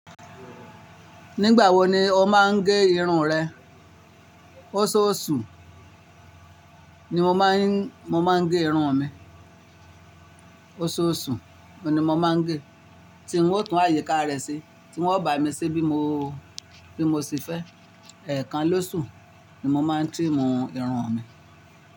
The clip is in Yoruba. Nígbà wo ni ó máa ń gẹ irun rẹ? Oṣooṣù ni mo máa ń, mo máa ń gẹ irun mi. Oṣooṣù, òní mo máa ń gẹ, tí n ó tún àyíká rẹ ṣe, tí wón bá mi ṣé bí mo, bí mo ṣe fẹ́. Ẹ̀kan lóṣù ni mo máa ń trim irun mi.